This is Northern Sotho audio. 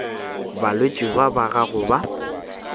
balwetši ba ba gago ba